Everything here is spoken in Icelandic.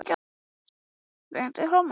Berti, spilaðu tónlist.